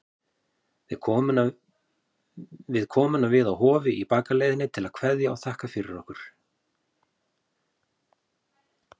Við komum við á Hofi í bakaleiðinni til að kveðja og þakka fyrir okkur.